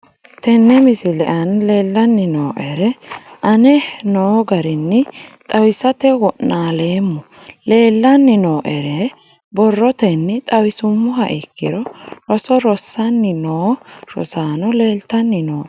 Tene misile aana leelanni nooerre aane noo garinni xawisate wonaaleemmo. Leelanni nooerre borrotenni xawisummoha ikkiro roso rosanni noo rosaano leeltanni nooe.